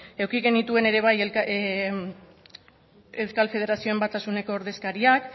eduki genituen ere bai euskal federazioen batasuneko ordezkariak